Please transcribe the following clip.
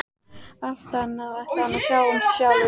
Allt annað ætlaði hann að sjá um sjálfur.